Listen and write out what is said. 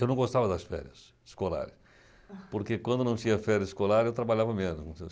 Eu não gostava das férias escolares, porque quando não tinha férias escolares, eu trabalhava menos.